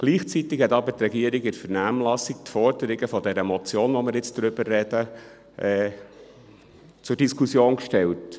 Gleichzeitig hat aber die Regierung in der Vernehmlassung die Forderungen dieser Motion, über die wir jetzt sprechen, zur Diskussion gestellt.